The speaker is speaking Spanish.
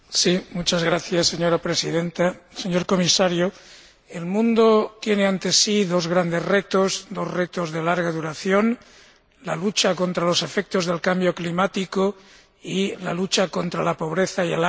Señora Presidenta, señor Comisario, el mundo tiene ante sí dos grandes retos, dos retos de larga duración la lucha contra los efectos del cambio climático y la lucha contra la pobreza y el hambre en el mundo.